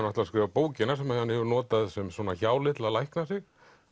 ætlar að skrifa bókina sem hann hefur notað sem hjáleið til að lækna sig